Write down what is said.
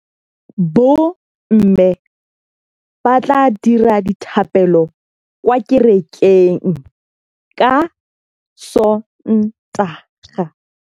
Bommê ba tla dira dithapêlô kwa kerekeng ka Sontaga.